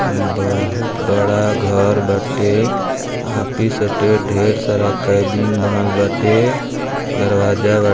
बहुत बड़ा घर बाटे आफिस हटे| ढेर सारा केबिन बनल बाटे दरवाजा बा--